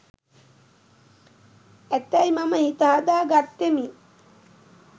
ඇතැයි මම හිත හදා ගත්තෙමි.